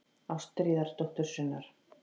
Ástríðar dóttur sinnar.